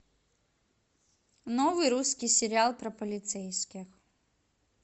новый русский сериал про полицейских